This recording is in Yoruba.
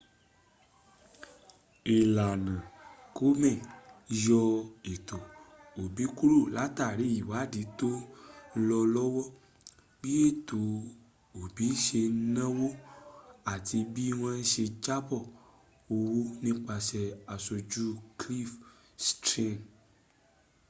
ìlànà komen yọ ètò òbí kúrò látàrí ìwádìí tọ́ ń lọ lọ́wọ́ bí ètò òbí ṣe náwó àti bí wọ́n ṣe jábọ̀ owó nípasẹ̀ àṣójú cliff stearns